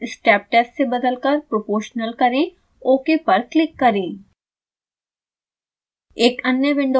function नाम step test से बदलकर proportional करें ok पर क्लिक करें